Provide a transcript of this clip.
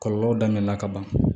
Kɔlɔlɔ daminɛ la kaban